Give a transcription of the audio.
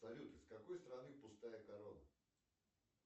салют из какой страны пустая корона